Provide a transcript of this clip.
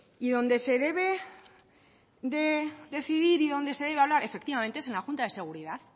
y donde se debe de decidir y donde se debe hablar efectivamente es en la junta de seguridad